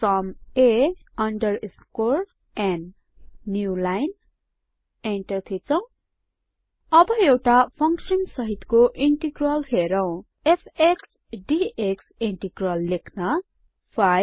सुम a underscore n new line enter थिचौं अब एउटा फंक्सन सहितको इंटीग्रल हेरौं f x d x integral लेख्न 5